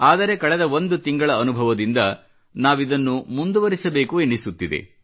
ಆದರೆ ಕಳೆದ ಒಂದು ತಿಂಗಳ ಅನುಭವದಿಂದ ನಾವಿದನ್ನು ಮುಂದುವರಿಸಬೇಕು ಎನ್ನಿಸುತ್ತದೆ